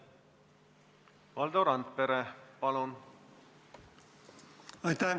Valdo Randpere, palun!